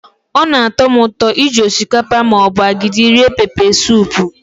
Ọ na-atọ m ụtọ iji osikapa ma ọ bụ agidi rie pepesụpụ.